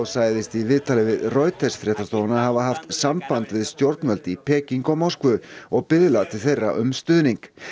sagðist í viðtali við Reuters fréttastofuna hafa haft samband við stjórnvöld í Peking og Moskvu og biðlað til þeirra um stuðning